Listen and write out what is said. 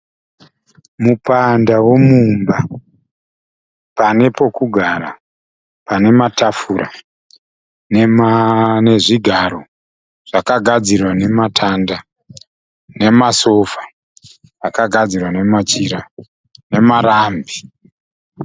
Mupanda womumba pane pokugara pane matafura nezvigaro zvakagadzirwa nematanda nemasofa akagadzirwa nemachira nemarambi.